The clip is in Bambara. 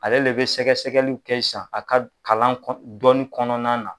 Ale le bɛ sɛgɛsɛgɛliw kɛ sisan a ka kalan kɔn dɔnni kɔnɔna na.